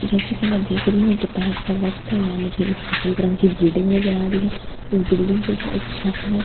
जैसा की मैं देख रही हूँ दोपहर का वक़्त है यहाँ मुझे एक सफेद रंग की बिल्डिंग नजर आ रही है इस बिल्डिंग के ऊपर एक छत है जो --